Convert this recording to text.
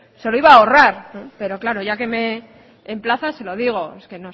se lo iba a ahorrar pero ya que me emplaza se lo digo es que